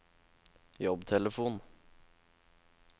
jobbtelefon